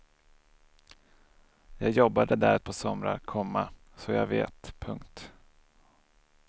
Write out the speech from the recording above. Jag jobbade där ett par somrar, komma så jag vet. punkt